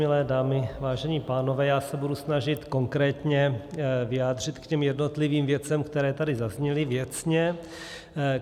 Milé dámy, vážení pánové, já se budu snažit konkrétně vyjádřit k těm jednotlivým věcem, které tady zazněly věcně.